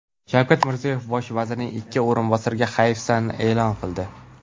Shavkat Mirziyoyev Bosh vazirning ikki o‘rinbosariga hayfsan e’lon qildi.